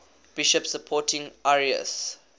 bishops supporting arius